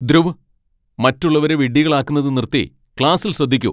ധ്രുവ്, മറ്റുള്ളവരെ വിഡ്ഢികളാക്കുന്നത് നിർത്തി ക്ലാസ്സിൽ ശ്രദ്ധിക്കൂ !